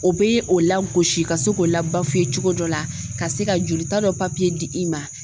O bɛ o lagosi ka se k'o la cogo dɔ la ka se ka jolita dɔ di i ma.